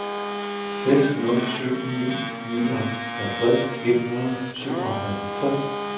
seks nul syv ni nioghalvtreds et hundrede og syvoghalvtreds